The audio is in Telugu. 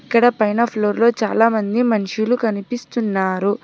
ఇక్కడ పైన ఫ్లోర్లో చాలామంది మనుషులు కనిపిస్తున్నారు.